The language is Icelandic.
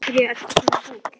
Af hverju ertu svona fúll?